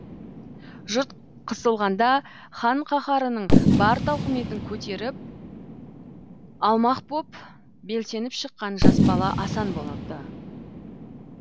жұрт қысылғанда хан қаһарының бар тауқыметін көтеріп алмақ боп белсеніп шыққан жас бала асан болады